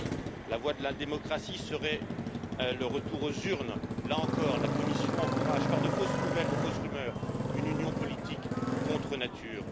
En Italie, la voie de la démocratie serait le retour aux urnes là encore, la Commission encourage par de fausses nouvelles, de fausses rumeurs, une union politique contre nature.